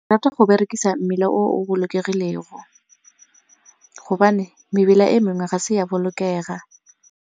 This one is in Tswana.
Ke rata go berekisa mmila o o bolokegilego gobane mebila e mengwe ga se ya bolokega.